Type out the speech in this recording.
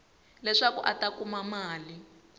leswaku a ta kuma mali